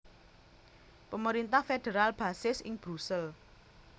Pemerintah federal basis ing Brusel